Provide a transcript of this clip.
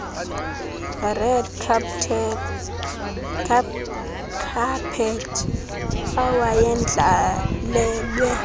red carpet awayendlalelwe